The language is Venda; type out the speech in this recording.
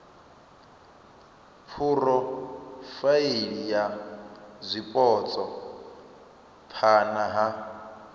phurofaili ya zwipotso phana ha